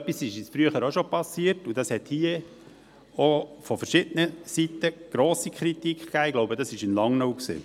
Das ist uns früher auch schon passiert, und es gab hier im Grossen Rat grosse Kritik, ich glaube, das betraf ein Objekt in Langnau.